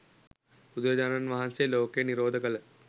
බුදුරජාණන් වහන්සේ ලෝකය නිරෝධ කළ